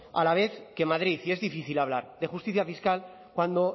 a la vez que madrid y es difícil hablar de justicia fiscal cuando